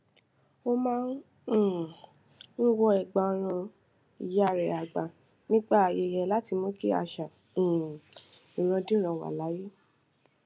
ó máa um ń wọ ẹgbàọrùn ìyá rẹ àgbà nígbà ayẹyẹ láti mú kí àṣà um ìrandíran wà láàyè